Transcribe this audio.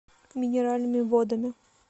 минеральными водами